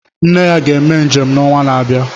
Nne ya ga-eme njem n'onwa na-abịa.